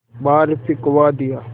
बाहर फिंकवा दिया